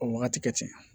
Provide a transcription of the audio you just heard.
O wagati kɛ ten